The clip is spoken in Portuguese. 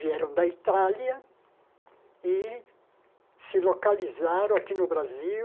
Vieram da Itália e se localizaram aqui no Brasil